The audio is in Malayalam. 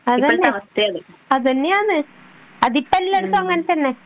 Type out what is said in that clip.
അതന്നെയാ അതിപ്പം എല്ലാടത്തും അങ്ങനെതന്നെ